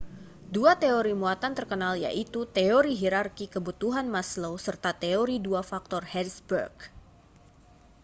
dua teori muatan terkenal yaitu teori hirarki kebutuhan maslow serta teori dua faktor hertzberg